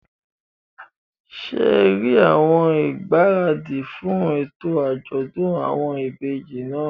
Ṣé rí àwọn ìgbáradì fún ètò àjọ̀dún àwọn ìbejì náà?